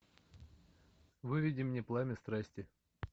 выведи мне пламя страсти